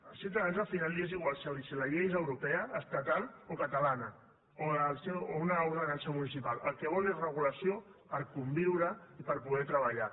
als ciutadans al final els és igual si la llei és europea estatal o catalana o una ordenança municipal el que volen és regulació per conviure i per poder treballar